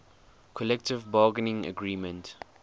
collective bargaining agreement